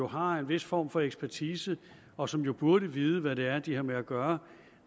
har en vis form for ekspertise og som jo burde vide hvad det er de har med at gøre